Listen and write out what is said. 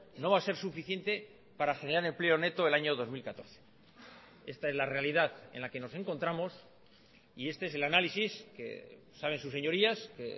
no va a ser suficiente para generar empleo neto el año dos mil catorce esta es la realidad en la que nos encontramos y este es el análisis que saben sus señorías que